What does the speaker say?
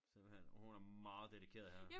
Simpelthen hun er meget dedikeret her